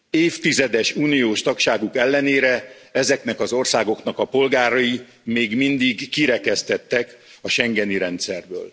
Évtizedes uniós tagságuk ellenére, ezeknek az országoknak a polgárai még mindig kirekesztettek a schengeni rendszerből.